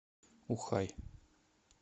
ухай